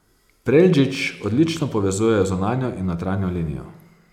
Preldžić odlično povezuje zunanjo in notranjo linijo.